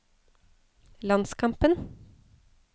landskampen